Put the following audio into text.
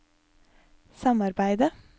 samarbeidet